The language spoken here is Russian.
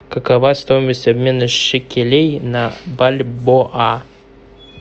какова стоимость обмена шекелей на бальбоа